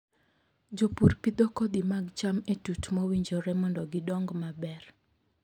Jopur pidho kodhi mag cham e tut mowinjore mondo gidong maber.